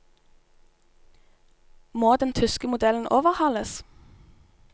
Må den tyske modellen overhales?